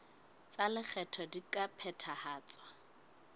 tsa lekgetho di ka phethahatswa